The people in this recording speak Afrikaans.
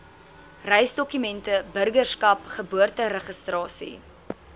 reisdokumente burgerskap geboorteregistrasie